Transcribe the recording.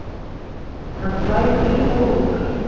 Hann slær í og úr.